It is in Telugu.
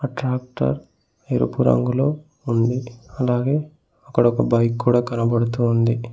ట్రాక్టర్ ఎరుపు రంగులో ఉంది అలాగే అక్కడ ఒక బైక్ కూడా కనబడుతూ ఉంది.